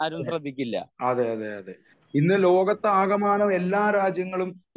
അതെയതെ ഇന്ന് ലോകത്തു ആകമാനം എല്ലാ രാജ്യങ്ങളും